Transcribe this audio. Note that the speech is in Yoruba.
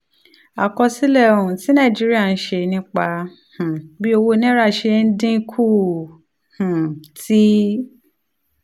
àkọsílẹ̀ um tí nàìjíríà ń ṣe nípa um bí owó naira ṣe ń dín kù um ti